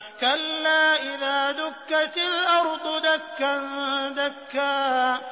كَلَّا إِذَا دُكَّتِ الْأَرْضُ دَكًّا دَكًّا